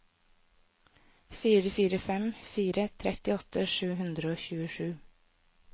fire fire fem fire trettiåtte sju hundre og tjuesju